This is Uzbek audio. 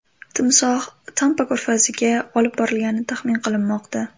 Timsoh Tampa ko‘rfaziga olib borilgani taxmin qilinmoqda.